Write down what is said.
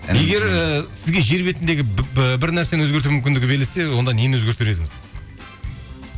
егер і сізге жер бетіндегі бір нәрсені өзгерту мүмкіндігі берілсе онда нені өзгертер едіңіз